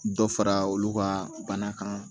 Dɔ fara olu ka bana kan